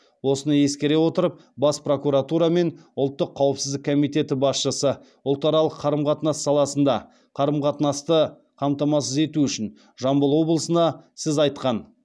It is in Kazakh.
осыны ескере отырып бас прокуратура мен ұлттық қауіпсіздік комитеті басшысы ұлтаралық қарым қатынас саласында қарым қатынасты қамтамасыз ету үшін жамбыл облысына сіз айтқан